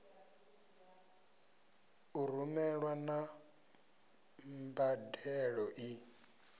u rumelwa na mbadelo i